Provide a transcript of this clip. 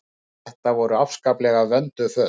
Þetta voru afskaplega vönduð föt.